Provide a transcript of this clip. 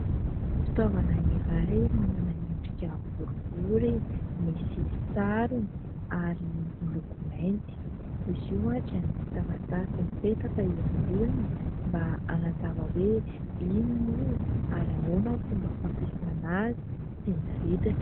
Fitaovana iray: manana endrika boribory, misy sarony ary miloko mainty. Izy io dia misy taratasy mipetaka eo amboniny mba hanazava hoe inona io ary ahoana ny fomba fampiasana azy sy ny vidiny.